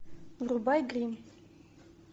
врубай гримм